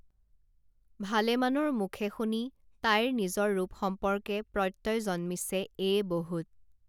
ভালেমানৰ মুখে শুনি তাইৰ নিজৰ ৰূপ সম্পৰ্কে প্ৰত্যয় জন্মিছে এয়ে বহুত